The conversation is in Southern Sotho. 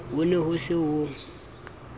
ho ne ho se ho